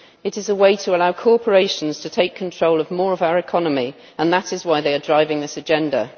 It is a way to allow corporations to take control of more of our economy, and that is why they are driving this agenda.